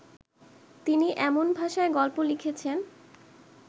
তিনি এমন ভাষায় গল্প লিখেছেন